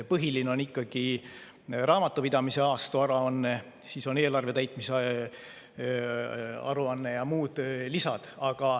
Põhiline on ikkagi raamatupidamise aastaaruanne, siis on eelarve täitmise aruanne ja muud lisad.